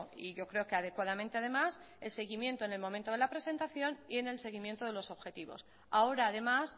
y yo creo que adecuadamente además el seguimiento en el momento de la presentación y en el seguimiento de los objetivos ahora además